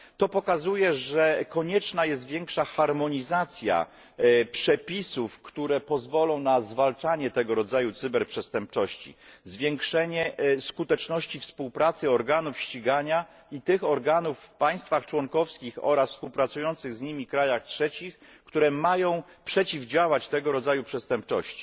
To pokazuje, że konieczna jest większa harmonizacja przepisów, które pozwolą na zwalczanie tego rodzaju cyberprzestępczości, zwiększenie skuteczności współpracy organów ścigania i tych organów w państwach członkowskich oraz współpracujących z nimi krajach trzecich, które mają przeciwdziałać tego rodzaju przestępczości.